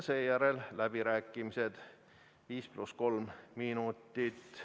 Seejärel toimuvad läbirääkimised, 5 + 3 minutit.